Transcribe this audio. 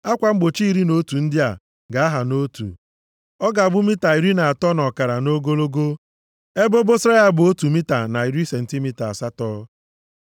Akwa mgbochi iri na otu ndị a ga-aha nʼotu. Ọ ga-abụ mita iri na atọ na ọkara nʼogologo. Ebe obosara ya bụ otu mita na iri sentimita asatọ.